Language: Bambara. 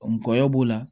Ngɔyɔ b'o la